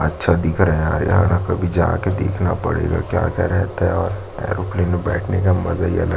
अच्छा दिख रहा है यहाँ काभी जा के देखना पड़ेगा क्या-क्या रहता है और एयरप्लेन में बैठने का मजा ही अलग है।